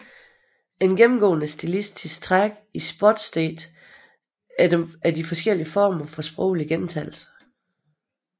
Et gennemgående stilistisk træk i Sportsdigte er de forskellige former for sproglig gentagelse